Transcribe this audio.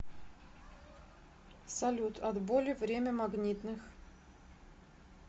салют от боли время магнитных